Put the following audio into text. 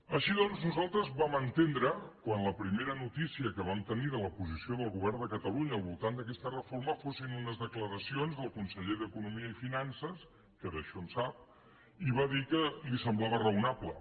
així doncs nosaltres vam entendre quan la primera notícia que vam tenir de la posició del govern de catalunya al voltant d’aquesta reforma que fossin unes declaracions del conseller d’economia que d’això en sap i va dir que li semblava raonable